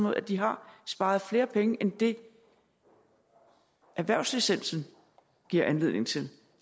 at de har sparet flere penge end det erhvervslicensen giver anledning til